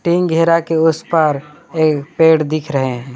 इन घेरा के उस पार पेड़ दिख रहे है।